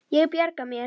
Ég bjarga mér.